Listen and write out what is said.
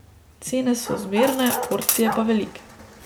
Cene so zmerne, porcije pa velike.